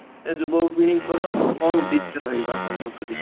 ଏ ଯୁବପିଢିଙ୍କର କଣ ଆପଣଙ୍କ ମତରେ